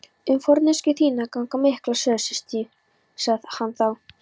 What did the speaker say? Um forneskju þína ganga miklar sögur, systir, sagði hann þá.